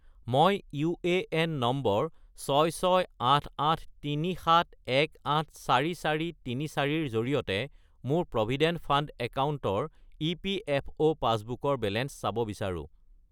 মই UAN number 668837184434 -ৰ জৰিয়তে মোৰ প্ৰভিডেণ্ট ফাণ্ড একাউণ্টৰ ইপিএফঅ’ পাছবুকৰ বেলেঞ্চ চাব বিচাৰোঁ